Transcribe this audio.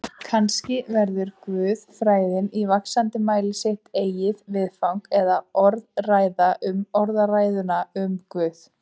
Kannski verður guðfræðin í vaxandi mæli sitt eigið viðfang eða orðræða um orðræðuna um Guð.